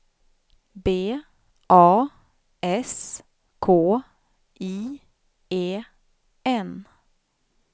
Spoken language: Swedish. B A S K I E N